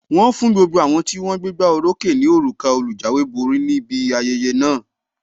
Wọn fún gbogbo àwọn tí wón gbégbá oró ókè ní òrùka olùjáwéborí níbi ayẹyẹ náà.